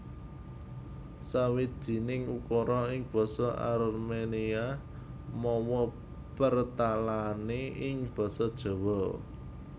Sawijining ukara ing basa Arménia mawa pertalané ing basa Jawa